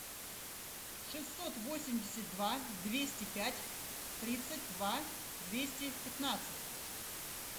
шестьсот восемьдесят два двести пять тридцать два двести пятнадцать